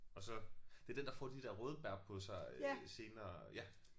Og så det er den der får de der røde bær på sig øh senere ja